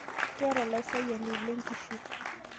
Kayeita laisiayani lenkishu